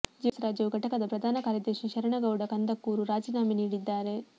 JDS ರಾಜ್ಯ ಯು ಘಟಕದ ಪ್ರಧಾನ ಕಾರ್ಯದರ್ಶಿ ಶರಣಗೌಡ ಕಂದಕೂರು ರಾಜೀನಾಮೆ ನೀಡಿದ್ದಾರೆ